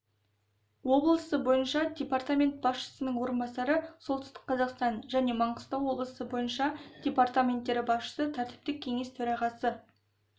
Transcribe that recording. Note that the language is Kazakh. облысы бойынша департамент басшысының орынбасары солтүстік-қазақстан және маңғыстау облысы бойынша департаменттері басшысы тәртіптік кеңес төрағасы